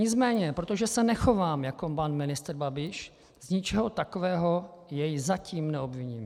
Nicméně protože se nechovám jako pan ministr Babiš, z ničeho takového jej zatím neobviním.